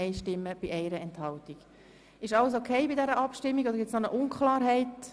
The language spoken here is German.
Ist bezüglich dieser Abstimmung alles in Ordnung?